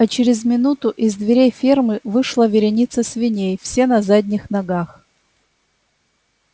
а через минуту из дверей фермы вышла вереница свиней все на задних ногах